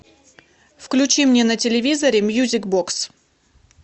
включи мне на телевизоре мьюзик бокс